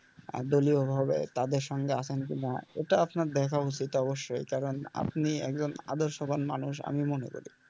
আহ দলীয়ভাবে তাদের সঙ্গে আছেন কিনা এটা আপনার দেখা উচিত অবশ্যই কারণ আপনি একজন আদর্শবান মানুষ আমি মনে করি।